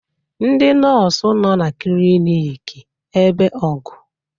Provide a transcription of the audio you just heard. Ndị nọọsụ nọ na cilinc ebe ọgụ.